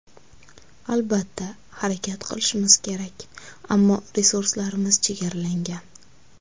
Albatta, harakat qilishimiz kerak, ammo resurslarimiz chegaralangan.